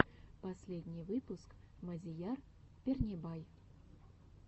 последний выпуск мадияр пернебай